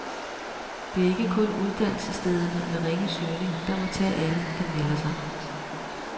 Det er ikke kun uddannelsesstederne med ringe søgning, der må tage alle, der melder sig.